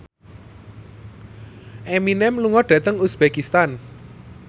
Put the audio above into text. Eminem lunga dhateng uzbekistan